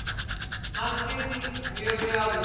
Hann sé því mjög glaður.